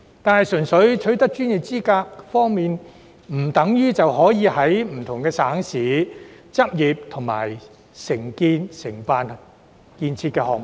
但是，純粹取得內地相關專業資格，不等於可在不同省市執業和承辦建設項目。